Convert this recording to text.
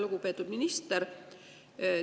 Lugupeetud minister!